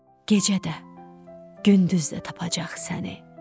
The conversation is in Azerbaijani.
gecə də, gündüz də tapacaq səni.